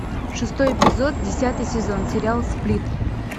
шестой эпизод десятый сезон сериал сплит